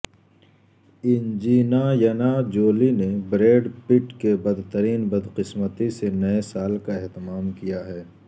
Angelina Jolie نے Brad Pitt کے بدترین بدقسمتی سے نئے سال کا اہتمام کیا ہے